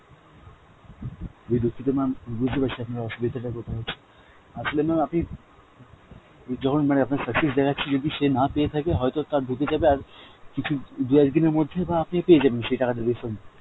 দুক্ষিত mam, বুজতে পারছি আপনার অসুবিধাটা কথায় হচ্ছে, আসলে mam আপনি যখন মানে আপনার success দেখছে যদি সে না পেয়ে থাকে হয়েত তার ঢুকে যাবে আর কিছু দু একদিনের মধ্যে বা আপনি পেয়ে যাবেন সেই টাকাটা refund